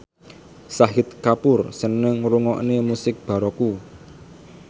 Shahid Kapoor seneng ngrungokne musik baroque